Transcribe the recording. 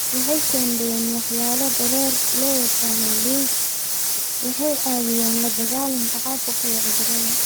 Waxay shaandheeyaan walxaha dareere loo yaqaanno lymph waxayna caawiyaan la dagaalanka caabuqa iyo cudurrada.